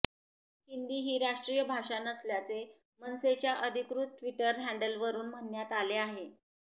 हिंदी ही राष्ट्रीय भाषा नसल्याचे मनसेच्या अधिकृत ट्विटर हँडलवरुन म्हणण्यात आले आहे